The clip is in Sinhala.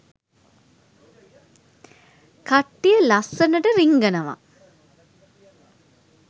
කට්ටිය ලස්සනට රිංගනව.